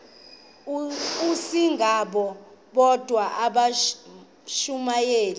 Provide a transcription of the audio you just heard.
asingabo bodwa abashumayeli